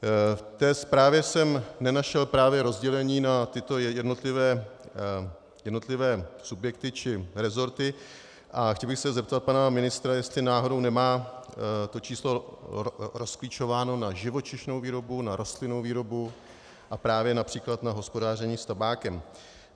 V té zprávě jsem nenašel právě rozdělení na tyto jednotlivé subjekty či rezorty a chtěl bych se zeptat pana ministra, jestli náhodou nemá to číslo rozklíčováno na živočišnou výrobu, na rostlinnou výrobu a právě například na hospodaření s tabákem.